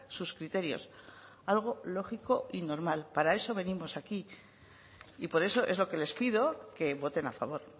sus criterios algo lógico y normal para eso venimos aquí y por eso es lo que les pido que voten a favor